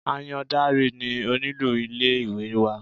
Àyàndáre ni onílù ilé ìwé wa.